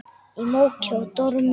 Í móki og dormi.